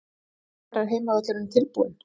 Hvenær er heimavöllurinn tilbúinn?